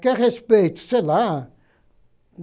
Quer respeito, sei lá.